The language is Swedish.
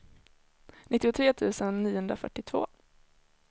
nittiotre tusen niohundrafyrtiotvå